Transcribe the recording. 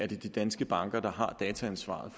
de danske banker der har dataansvaret